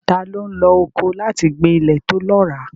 Ta ló ń lo ọkọ́ láti gbin ilẹ̀ tó lọ́ràá?